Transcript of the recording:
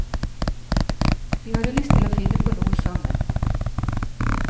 Vi hadde lyst til å finne på noe sammen.